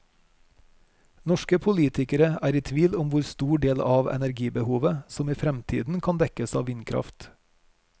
Norske politikere er i tvil om hvor stor del av energibehovet som i fremtiden kan dekkes av vindkraft.